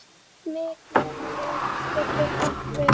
Mikael getur átt við